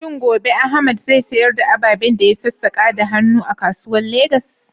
Shin gobe Ahmad zai sayar da ababen da ya sassaka da hannu a kasuwa a Legas?